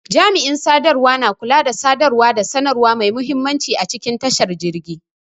Jami'in sadarwa na kula da sadarwa da sanarwa mai muhimmanci a cikin tashar jirgi.